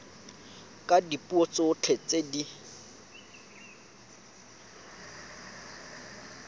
ka dipuo tsotlhe tse di